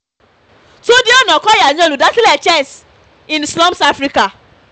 túnde túnde ọ̀nàkọ́yà ni olùdásílẹ̀ chess in slums africa